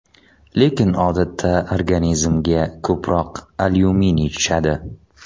Lekin odatda organizmga ko‘proq alyuminiy tushadi.